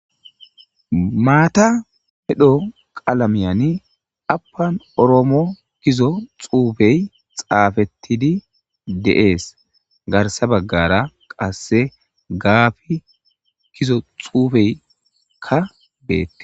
Matta medho qalaman affan oromo giza xufey xafetidi des garsa bagara qase gapi giza xufeyka betes